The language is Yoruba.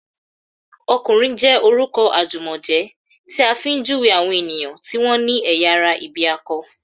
"ọkùnrin" jẹ́ orúkọ àjùmọ̀jẹ́ tí a fi ń júwèé àwọn èèyàn tí wọ́n ní ẹ̀yà ara ìbí akọ